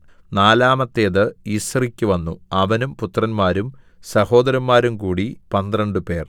നാലാമത്തേത് യിസ്രിക്കു വന്നു അവനും പുത്രന്മാരും സഹോദരന്മാരും കൂടി പന്ത്രണ്ടുപേർ